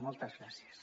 moltes gràcies